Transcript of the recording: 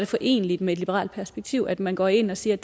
foreneligt med et liberalt perspektiv at man går ind og siger